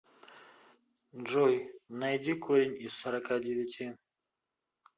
джой найди корень из сорока девяти